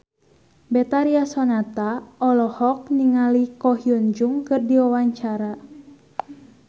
Betharia Sonata olohok ningali Ko Hyun Jung keur diwawancara